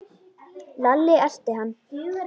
Lalli elti hann.